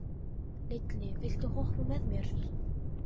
Lilli, viltu hoppa með mér?